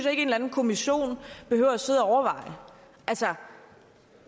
at en eller anden kommission behøver at sidde og overveje altså